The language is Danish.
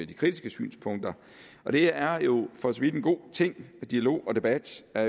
de kritiske synspunkter og det er jo for så vidt en god ting dialog og debat er